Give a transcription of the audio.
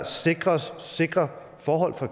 sikres sikre forhold for